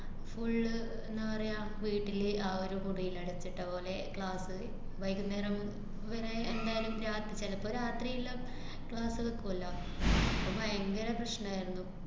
full എന്താ പറയാ, വീട്ടില് ആ ഒരു മുറീലടച്ചിട്ട പോലെ class വൈകുന്നേരം ഇവടെ എന്തായാലും രാത്~ ചിലപ്പൊ രാത്രീല് class വയ്ക്കൂവല്ലോ. അപ്പ ഭയങ്കര പ്രശ്നായിരുന്നു.